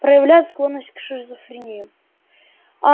проявляет склонность к шизофрении а